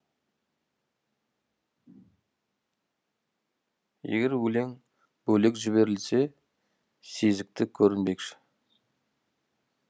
егер өлең бөлек жіберілсе сезікті көрінбекші